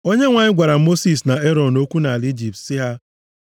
Onyenwe anyị gwara Mosis na Erọn okwu nʼala Ijipt sị ha,